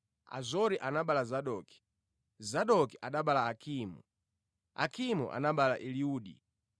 Azoro anabereka Zadoki, Zadoki anabereka Akimu, Akimu anabereka Eliudi.